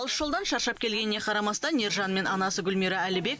алыс жолдан шаршап келгеніне қарамастан ержан мен анасы гүлмира әлібек